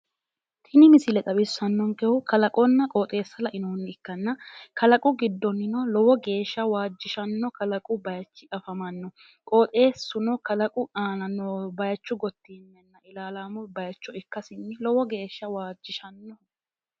tini misile xawissannonkehu kalaqonna qooxeessa ikkanna kalaqu giddonnino lowo geeshsha waajjishanno kalaqu bayiichi afamanno qooxeessuno kalaqu aana noo bayiichu gottinye ilaalaamu bayiicho ikkasinni lowo geeshsha waajjishannoho.